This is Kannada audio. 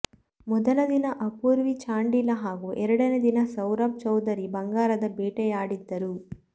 ಮೊದಲ ದಿನ ಅಪೂರ್ವಿ ಚಾಂಡೀಲಾ ಹಾಗೂ ಎರಡನೇ ದಿನ ಸೌರಭ್ ಚೌಧರಿ ಬಂಗಾರದ ಬೇಟೆಯಾಡಿದ್ದರು